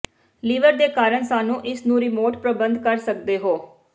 liver ਦੇ ਕਾਰਨ ਸਾਨੂੰ ਇਸ ਨੂੰ ਰਿਮੋਟ ਪਰਬੰਧ ਕਰ ਸਕਦੇ ਹੋ